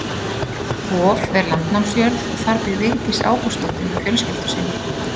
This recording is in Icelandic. Hof er landnámsjörð og þar býr Vigdís Ágústsdóttir með fjölskyldu sinni.